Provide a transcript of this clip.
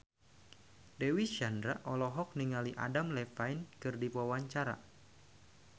Dewi Sandra olohok ningali Adam Levine keur diwawancara